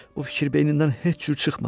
Bu fikir beynindən heç cür çıxmır.